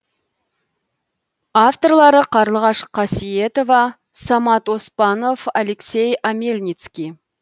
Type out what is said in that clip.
авторлары қарлығаш қасиетова самат оспанов алексей омельницкий